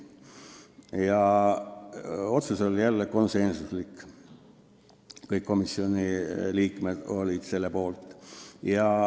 Otsus oli jälle konsensuslik: kõik komisjoni liikmed olid selle poolt.